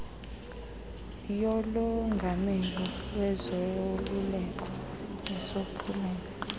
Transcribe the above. yolongamelo lwezoluleko nesophulelo